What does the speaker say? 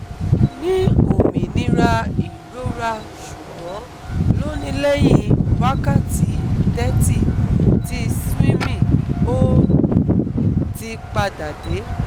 ni ominira irora sugbon lonilehin wakati thirty ti swimming o ti pada de